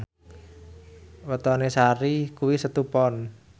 wetone Sari kuwi Setu Pon